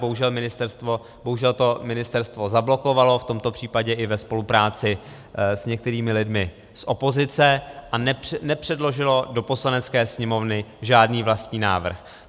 Bohužel to ministerstvo zablokovalo, v tomto případě i ve spolupráci s některými lidmi z opozice, a nepředložilo do Poslanecké sněmovny žádný vlastní návrh.